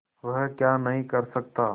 वह क्या नहीं कर सकता